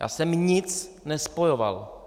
Já jsem nic nespojoval.